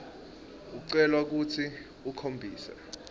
ucelwa kutsi ukhombise